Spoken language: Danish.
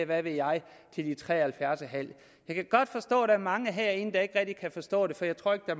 hvad ved jeg til de er tre og halvfjerds en halv år jeg kan godt forstå at der er mange herinde der ikke rigtig kan forstå det for jeg tror ikke at